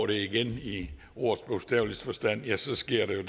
det igen i ordets bogstaveligste forstand ja så sker der jo